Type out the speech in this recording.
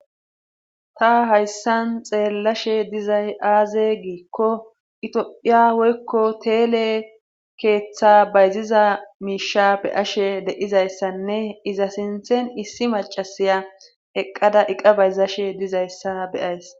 ta hayssan xeellashe dizay aaze giikko itphiya woykko teele keeththa bayziza miisha be ashe deizayssanne iza sinthen issi macasiya eqqada iqa bayzashe dizayssa beyays